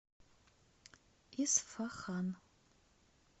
исфахан